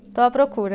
Estou à procura.